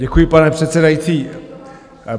Děkuji, pane předsedající.